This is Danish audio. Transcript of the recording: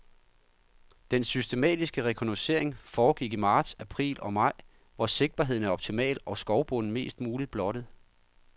Den systematiske rekognocering foregik i marts, april og maj, hvor sigtbarheden er optimal og skovbunden mest muligt blottet.